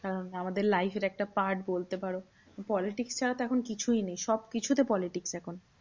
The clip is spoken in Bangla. উম আমাদের life এর একটা part বলতে পারো। politics এ হয়তো এখন কিছুই নেই, সবকিছুতে politics এখন।